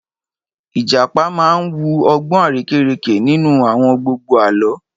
Ìjàpá máa wu ọgbọ́n arérekè nínú àwọn gbogbo Àlọ́